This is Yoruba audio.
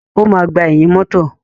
O máa gbà ẹ̀yìn mọ́tọ̀.